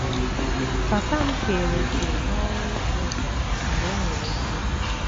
Papa m keere òkè n’ọrụ ịsụ ụzọ mgbe o nwere ike.